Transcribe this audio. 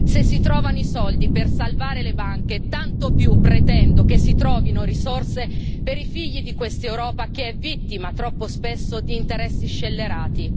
Se si trovano i soldi per salvare le banche, tanto più pretendo che si trovino risorse per i figli di quest'Europa che è vittima, troppo spesso, di interessi scellerati.